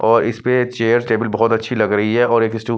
और इस पे चेयर टेबल बहुत अच्छी लग रही है और एक स्टूल --